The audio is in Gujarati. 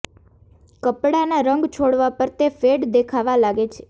કપડાના રંગ છોડવા પર તે ફેડ દેખાવા લાગે છે